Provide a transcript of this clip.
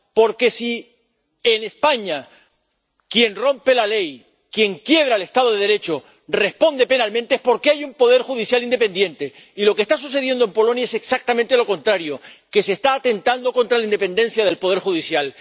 Porque, si en España, quien rompe la ley, quien quiebra el Estado de Derecho responde penalmente es porque hay un poder judicial independiente, y lo que está sucediendo en Polonia es exactamente lo contrario, que se está atentando contra la independencia del poder judicial.